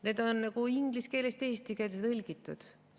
Need on nagu inglise keelest eesti keelde tõlgitud.